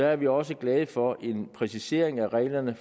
er vi også glade for præciseringen af reglerne